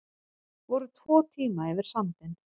Voru tvo tíma yfir sandinn